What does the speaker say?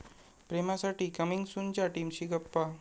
प्रेमासाठी coming सून'च्या टीमशी गप्पा